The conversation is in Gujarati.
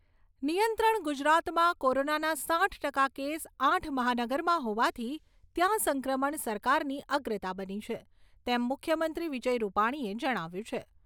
નિયંત્રણ ગુજરાતમાં કોરોનાના સાઈઠ ટકા કેસ આઠ મહાનગરમાં હોવાથી ત્યાં સંક્રમણ સરકારની અગ્રતા બની છે, તેમ મુખ્યમંત્રી વિજય રૂપાણીએ જણાવ્યું છે.